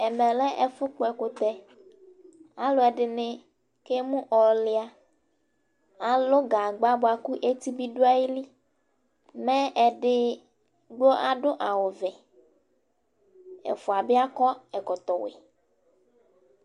Ɛmɛ lɛ ɛfʋ kpɔ ɛkʋtɛAlʋɛdɩnɩ kemu ɔlɩa, alʋ gagba bʋa kʋ eti bɩ dʋ ayiliMɛ edigbo adʋ awʋ vɛ, ɛfʋa bɩ akɔ ɛkɔtɔ wɛ